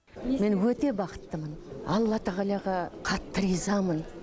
мен өте бақыттымын алла тағалаға қатты ризамын